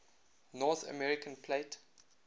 north american plate